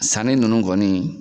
Sanni ninnu kɔni